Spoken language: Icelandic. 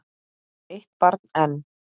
Eitt barn enn?